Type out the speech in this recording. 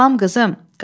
Salam qızım.